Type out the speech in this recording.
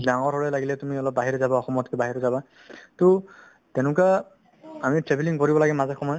ডাঙৰ হ'লে লাগিলে তুমি অলপ বাহিৰে যাবা অসমতকে বাহিৰে যাবা to তেনেকুৱা আমি travelling কৰিব লাগে মাজে সময়ে